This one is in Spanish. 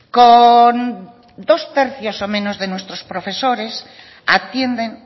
con dos tercios o menos de nuestros profesores atienden